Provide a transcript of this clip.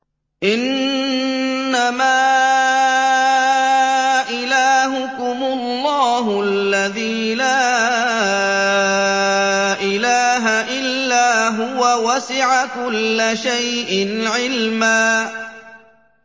إِنَّمَا إِلَٰهُكُمُ اللَّهُ الَّذِي لَا إِلَٰهَ إِلَّا هُوَ ۚ وَسِعَ كُلَّ شَيْءٍ عِلْمًا